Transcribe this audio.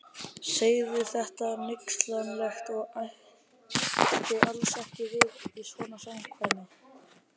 Sagði þetta hneykslanlegt og ætti alls ekki við í svona samkvæmi.